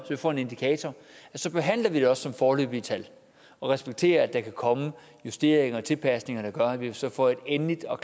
vi får en indikator så behandler vi det også som foreløbige tal og respekterer at der kommer justeringer og tilpasninger der gør at vi så får et endeligt og